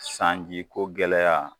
Sanji ko gɛlɛya